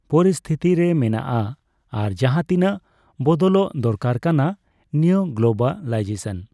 ᱯᱚᱨᱤᱥᱛᱷᱤᱛᱤ ᱨᱮ ᱢᱮᱱᱟᱜᱼᱟ ᱾ᱟᱨ ᱡᱟᱦᱟᱸ ᱛᱤᱱᱟᱹᱜ ᱵᱚᱫᱚᱞᱚᱜ ᱫᱚᱨᱠᱟᱨ ᱠᱟᱱᱟ ᱱᱤᱭᱟᱹ ᱜᱞᱳᱵᱟᱞᱟᱭᱡᱮᱥᱚᱱ